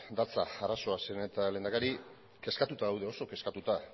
datza arazoa zeren eta lehendakari kezkatuta gaude oso kezkatuta